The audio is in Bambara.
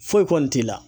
Foyi kɔni t'i la